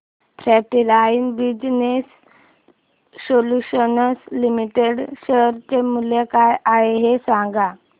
frontline business solutions limited share चे मूल्य काय आहे हे सांगा